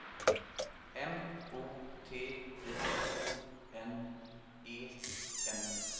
M O T I O N E N